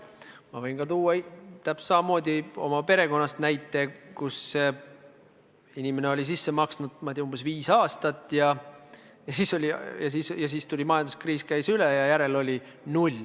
Ma võin tuua täpselt samamoodi oma perekonnast näite, et inimene oli umbes viis aastat raha sisse maksnud, siis aga tuli majanduskriis, ja järel oli null.